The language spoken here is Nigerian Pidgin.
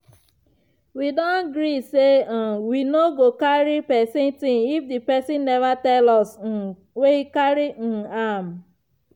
we don gree say um we no go carry pesin ting if di pesin never tell us make um we carry um am.